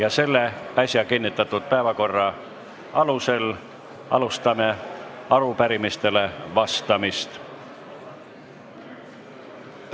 Alustame äsja kinnitatud päevakorra alusel arupärimistele vastamist.